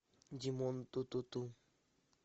димон ту ту ту